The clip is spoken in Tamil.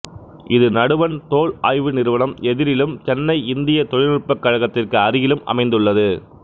இது நடுவண் தோல் ஆய்வு நிறுவனம் எதிரிலும் சென்னை இந்தியத் தொழில்நுட்பக் கழகத்திற்கு அருகிலும் அமைந்துள்ளது